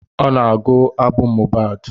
Ọ na-agụ abụ Mohid